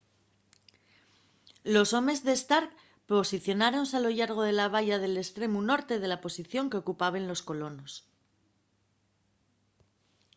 los homes de stark posicionáronse a lo llargo de la valla nel estremu norte de la posición qu’ocupaben los colonos